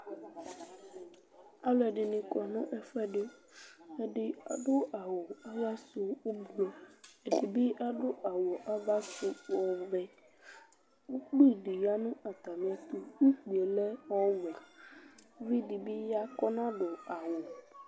Alu ɛɖɩnɩ kɔ nu ɛfuɛ́ ɖɩ Ɛɖɩ aɖu awu ava su ofoe, ɛɖɩbɩ aɖu awu ava su ɔvɛ Ukpɩ ɖɩ ya nu atami ɛtu, ukpie lɛ ɔwɛ Uvɩ ɖɩ bɩ ya kɔnaɖu awu